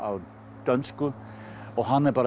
dönsku og hann er bara